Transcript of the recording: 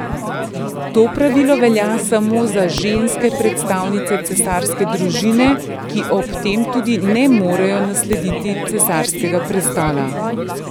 To pravilo velja samo za ženske predstavnice cesarske družine, ki ob tem tudi ne morejo naslediti cesarskega prestola.